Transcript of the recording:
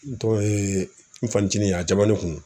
N tɔ n fanicinin a jamanen kun don.